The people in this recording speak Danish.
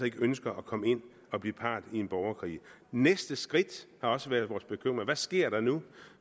ikke ønsker at komme ind og blive part i en borgerkrig næste skridt har også været vores bekymring hvad sker der nu